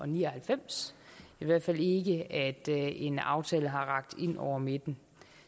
ni og halvfems i hvert fald ikke at en aftale har rakt ind over midten